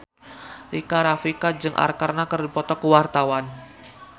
Rika Rafika jeung Arkarna keur dipoto ku wartawan